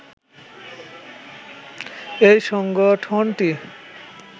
এই সংগঠনটি